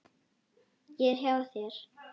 Ég er hjá þér.